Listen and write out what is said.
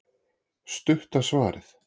Stutta svarið